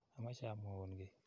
Amache amwaun ki.